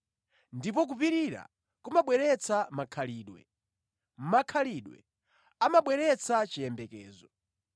Ndipo kupirira kumabweretsa makhalidwe, makhalidwe amabweretsa chiyembekezo.